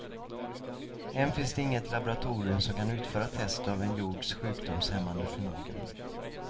Än finns inget laboratorium som kan utföra test av en jords sjukdomshämmande förmågan.